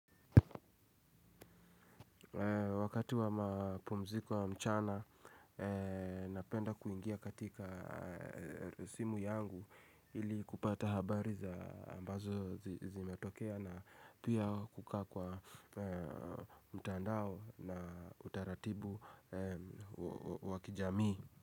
Wakati wa mapumziko wa mchana, napenda kuingia katika simu yangu ili kupata habari za ambazo zimetokea na pia kukaa kwa mtandao na utaratibu wakijamii.